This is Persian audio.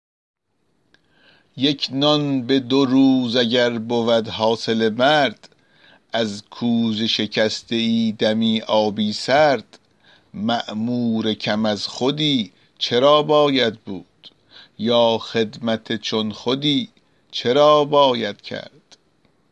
یک نان به دو روز اگر بود حاصل مرد از کوزه شکسته ای دمی آبی سرد مأمور کم از خودی چرا باید بود یا خدمت چون خودی چرا باید کرد